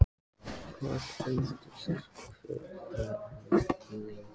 Karen Kjartansdóttir: Hvað endist hver farmur lengi?